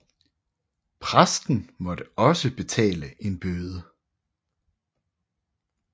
Præsten måtte også betale en bøde